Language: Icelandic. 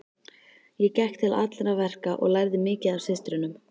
Ég gekk til allra verka og lærði mikið af systrunum.